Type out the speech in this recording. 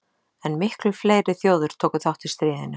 En miklu fleiri þjóðir tóku þátt í stríðinu.